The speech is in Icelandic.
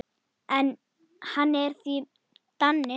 Hann er því Dani.